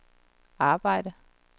arbejdede